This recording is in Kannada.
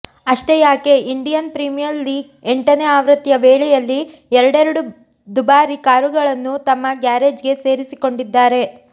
ಅಷ್ಟೇ ಯಾಕೆ ಇಂಡಿಯನ್ ಪ್ರೀಮಿಯಲ್ ಲೀಗ್ ಎಂಟನೇ ಆವೃತ್ತಿಯ ವೇಳೆಯಲ್ಲೇ ಎರಡೆರಡು ದುಬಾರಿ ಕಾರುಗಳನ್ನು ತಮ್ಮ ಗ್ಯಾರೇಜ್ ಗೆ ಸೇರಿಸಿಕೊಂಡಿದ್ದಾರೆ